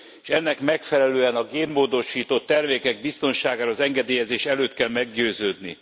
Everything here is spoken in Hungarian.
S ennek megfelelően a génmódosított termékek biztonságáról az engedélyezés előtt kell meggyőződni.